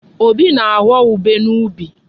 Obi na-aghọ ubé n'ubi.